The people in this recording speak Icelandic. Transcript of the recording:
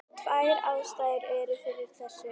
Tvær ástæður eru fyrir þessu.